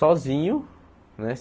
Sozinho né.